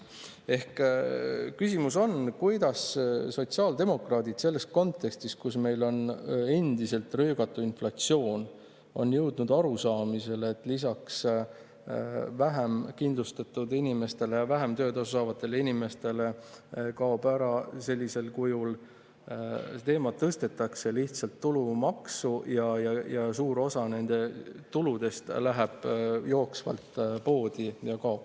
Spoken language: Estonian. " Ehk küsimus on: kuidas sotsiaaldemokraadid selles kontekstis, kus meil on endiselt röögatu inflatsioon, on jõudnud arusaamisele, et lisaks vähem kindlustatud inimestele ja vähem töötasu saavatele inimestele kaob sellisel kujul see teema ära, tõstetakse lihtsalt tulumaksu ning suur osa nende tuludest läheb jooksvalt poodi ja kaob?